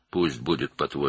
qoy sənin dediyin olsun.